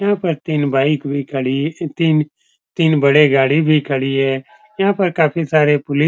यहां पर बाइक भी खड़ी तीन तीन बड़े गाड़ी भी खड़ी है यहां पर काफी सारे पुलि --